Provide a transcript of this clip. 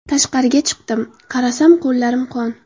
Tashqariga chiqdim, qarasam qo‘llarim qon.